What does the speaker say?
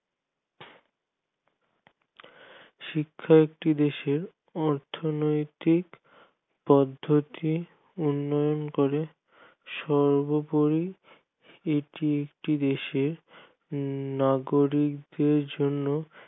শিক্ষা একটি দেশের অর্থনৈতিক পদ্ধতি উন্নয়ন করে সর্বোপরি এটি একটি দেশের নাগরিকদের জন্য